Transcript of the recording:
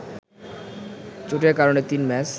চোটের কারণে তিন ম্যাচ